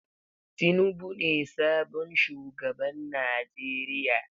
Tinubu ne sabon shugaban Najeriya.